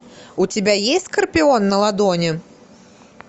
у тебя есть скорпион на ладони